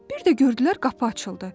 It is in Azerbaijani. Bir də gördülər qapı açıldı.